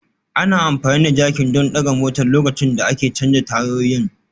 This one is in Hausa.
Ana amfani da jakin don ɗaga motar lokacin da ake canza tayoyin